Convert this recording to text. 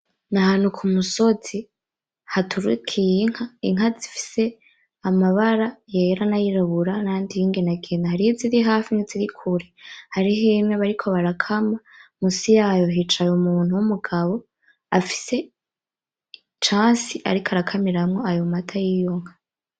Ni ahantu kumusozi haturukiye inka , inka zifise amabara yera nayirabura nayandi y'inginangina, hari iziri hafi n'izindi ziri kure ,hari imwe bariko barakama ,musi yaho hicaye umugabo afise icansi ariko arakamiramwo ayo mata yiyo nka.